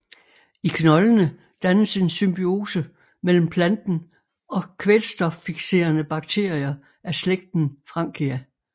I knoldene dannes en symbiose mellem planten og kvælstoffikserende bakterier af slægten Frankia